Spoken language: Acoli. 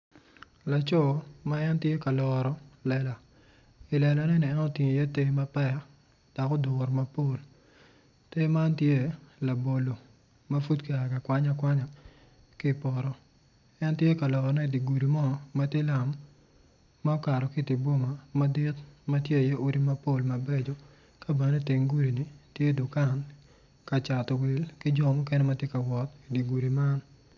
Laco ma en tye ka loro lela i lelane ni en otingo iye ter mapek, adada kun gin weng gitye ma oruko bongo mapafipadi dok kalane tye patpat kungin tye ka ngwec i yo gudo ma ka cato wil ki jo mukene ma tye i dye gudi man.